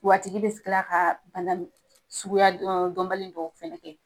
Wa a tigi bɛ kila ka bana ni suguya dɔnbali dɔ fɛnɛ kɛ.